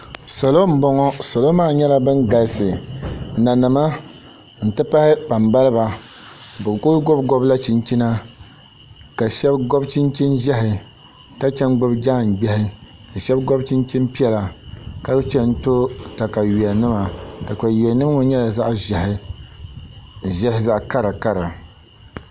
Salo n boŋo salo maa nyɛla bin galisi nanima n ti pahi kpambaliba bi ku gobgobla chinchina ka shab gobi chinchin ʒiɛhi ka chɛ n gbubi daangbiɣi ka shab gobi chinchin piɛla ka chɛŋ to katawiya nima katawiya nim ŋo nyɛla zaɣ ʒiɛhi zaɣ kara